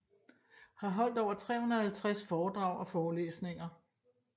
Har holdt over 350 foredrag og forelæsninger